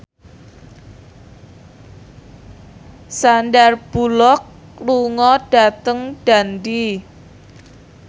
Sandar Bullock lunga dhateng Dundee